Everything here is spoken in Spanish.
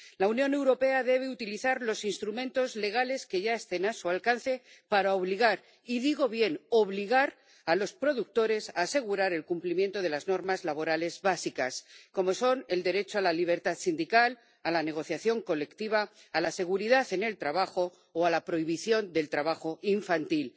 La Unión Europea debe utilizar los instrumentos legales que ya estén a su alcance para obligar —y digo bien, obligar— a los productores a asegurar el cumplimiento de las normas laborales básicas como son el derecho a la libertad sindical, a la negociación colectiva, a la seguridad en el trabajo o a la prohibición del trabajo infantil.